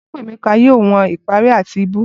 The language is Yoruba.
Chukwemeka yoo wọn ipari ati ibú.